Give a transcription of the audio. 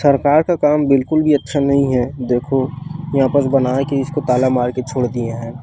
सरकार का काम बिलकुल भी अच्छा नहीं है देखो यहाँ पस बनाय के ताला मार के छोड़ दिए है ।